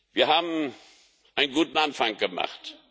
Wir haben einen guten Anfang gemacht.